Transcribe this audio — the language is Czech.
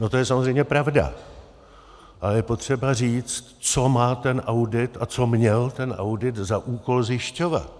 No to je samozřejmě pravda a je potřeba říct, co má ten audit a co měl ten audit za úkol zjišťovat.